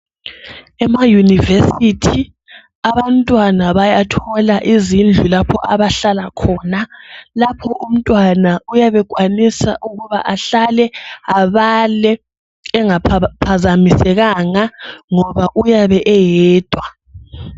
Ema Yunivesithi abantwana bayathola izindlu lapho abahlala khona. Lapho umntwana oyabe ekwanisa ukuba ahlale , abale engaphazamisekanga ngoba uyabe eyedwa.